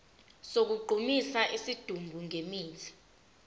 sokugqumisa isidumbu ngemithi